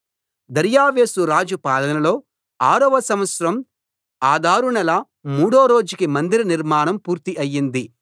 దర్యావేషు రాజు పాలనలో ఆరో సంవత్సరం అదారు నెల మూడో రోజుకి మందిర నిర్మాణం పూర్తి అయింది